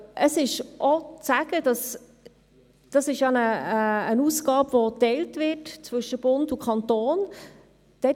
Es ist auch darauf hinzuweisen, dass es sich um eine Aufgabe handelt, die zwischen Bund und Kanton geteilt wird.